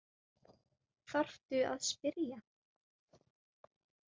Þarftu að spyrja?